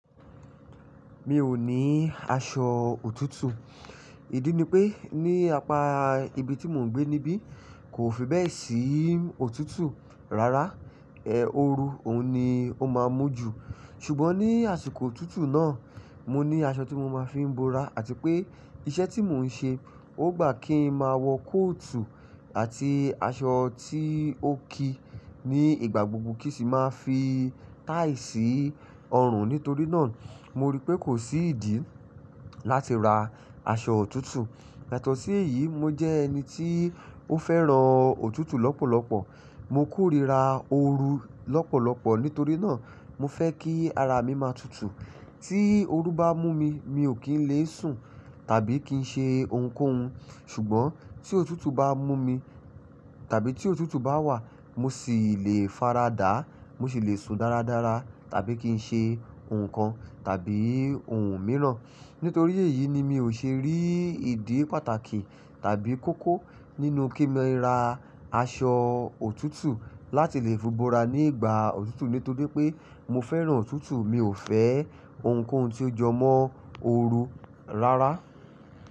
Mi ò ní aṣọ òtútù. Ìdí ni pé ní apá ibi tí mò ń gbé níbí kò fi bẹ́ẹ̀ sí òtútù rárá, ẹ́ ooru òun ni ó máa ń mú jù. Ṣùgbọ́n ní àsìkò òtútù náà, mo ní aṣọ tí mo máa ń fi bora àti pé iṣẹ́ tí mò ń ṣe, ó gbà kí n máa wọ kóòtù àti aṣọ tí ó ki ní ìgbà gbogbo kí sì máa fi táì sì ọrùn. Nítorí náà, mo rí pé kò sí ìdí láti ra aṣọ òtútù. Yatọ̀sí èyí, mo jẹ́ ẹni tí ó fẹ́ràn òtútù lọ́pọ̀lọpọ̀. Mo kórìíra ooru lọ́pọ̀lọpọ̀ nítorí náà mo fẹ́ kí ara mi máa tutù. Tí ooru bá mú mi, mi ò kí ń le sùn tàbí kí ń ṣe ohunkóhun. Ṣùgbọ́n tí òtútù bá mú mi tàbí tí òtútù bá wà, mo sì le faradà, mo sì le sùn dáradára tàbí kí ń ṣe nǹkan tàbí ohun mìíràn. Nítorí èyí ni mi ò ṣe rí ìdí pàtàkì tàbí koko nínú kí mo ra aṣọ òtútù láti lè fi bora ní ìgbà òtútù nítorí pé mo fẹ́ràn òtútù, mi ò fẹ́ ohunkóhun tí ó jọmọ́ ooru rárá.